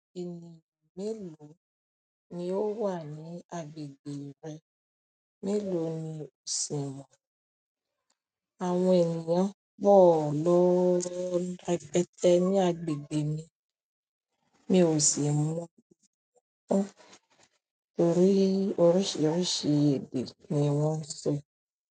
Ènìyàn mélòó ni ó wà ní agbègbè rẹ? Mélòó ni ò sì mọ̀. Àwọn ènìyàn pọ̀ lọ́ repẹ́tẹ́ ní agbègbè mi, mi ò sì mọ̀ torí oríṣiríṣi èdè ni wọ́n ń sọ.